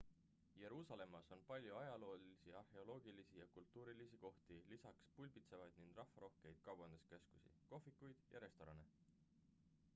jeruusalemmas on palju ajaloolisi arheoloogilisi ja kultuurilisi kohti lisaks pulbitsevaid ning rahvarohkeid kaubanduskeskusi kohvikuid ja restorane